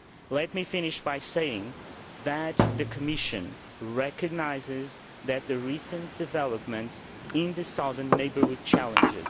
Let me finish by saying that the Commission recognises that the recent developments in the Southern Neighbourhood are challenging.